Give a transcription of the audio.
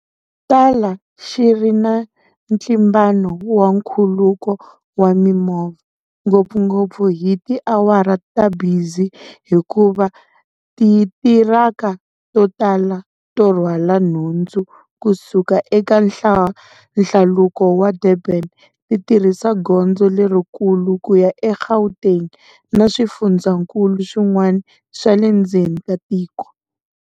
Tala xi ri na ntlimbano wa nkhuluko wa mimovha, ngopfungopfu hi tiawara ta bizi hikuva titiraka to tala to rhwala nhundzu ku suka eka nhlaluko wa Durban ti tirhisa gondzo lerikulu ku ya eGauteng na swifundzankulu swin'wana swa le ndzeni ka tiko.